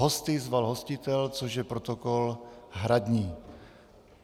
Hosty zval hostitel, což je protokol hradní.